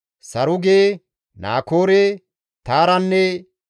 Saruge, Naakoore, Taaranne